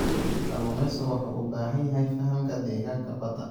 Kalluumeysigu wuxuu u baahan yahay fahamka deegaanka badda.